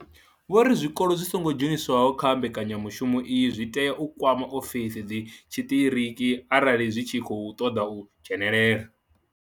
Vho ri zwikolo zwi songo dzheniswaho kha mbekanya mushumo iyi zwi tea u kwama ofisi dzi tshiṱiriki arali zwi tshi khou ṱoḓa u dzhenelela.